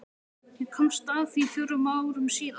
Ég komst að því fjórum árum síðar.